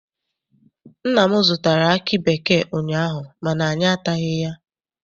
Nna m zụtara aki bekee ụnyaahụ mana anyị ataghị ya.